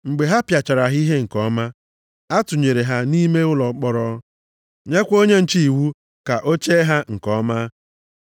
Mgbe ha pịachara ha ihe nke ọma, a tụnyere ha nʼime ụlọ mkpọrọ, nyekwa onye nche iwu ka o chee ha nke ọma.